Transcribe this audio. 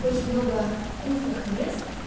очень много вкусных мест